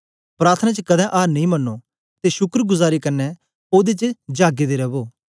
प्रार्थना च कदें आर नेई मन्नो ते शुक्रगुजारी कन्ने ओदे च जागें दे रवो